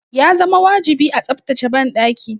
Ya zama wajibi a tsaftace banɗaki.